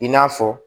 I n'a fɔ